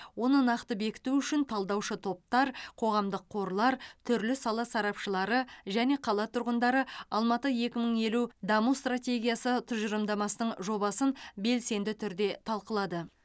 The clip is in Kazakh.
оны нақты бекіту үшін талдаушы топтар қоғамдық қорлар түрлі сала сарапшылары және қала тұрғындары алматы екі мың елу даму стратегиясы тұжылымдамасының жобасын белсенді түрде талқылады